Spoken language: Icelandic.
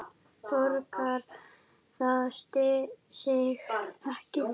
Borgar það sig ekki?